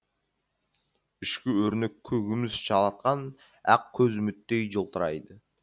ішкі өрнекке күміс жалатқан ақкөз үміттей жылтырайды